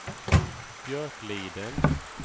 Björkliden